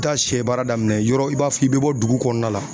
Taa sɛ baara daminɛ yɔrɔ i b'a fɔ i be bɔ dugu kɔnɔna la.